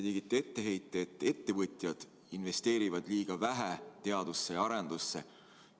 Te tegite etteheite, et ettevõtjad investeerivad liiga vähe teadusesse ja arendusse.